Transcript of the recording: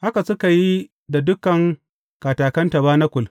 Haka suka yi da dukan katakan tabanakul.